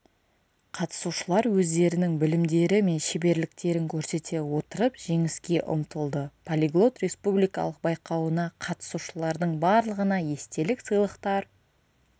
қатысушылар өздерінің білімдері мен шеберліктерін көрсете отырып жеңіске ұмтылды полиглот республикалық байқауына қатысушылардың барлығына естелік сыйлықтар